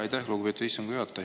Aitäh, lugupeetud istungi juhataja!